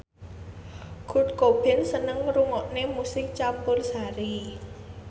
Kurt Cobain seneng ngrungokne musik campursari